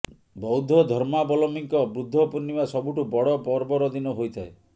ବୌଦ୍ଧ ଧର୍ମାବଲମ୍ବୀଙ୍କ ବୁଦ୍ଧ ପୂର୍ଣ୍ଣିମା ସବୁଠୁ ବଡ଼ ପର୍ବର ଦିନ ହୋଇଥାଏ